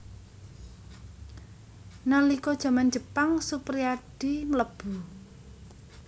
Nalika jaman Jepang Suprijadi mlebu